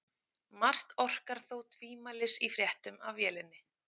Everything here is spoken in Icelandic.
Margt orkar þó tvímælis í fréttum af vélinni.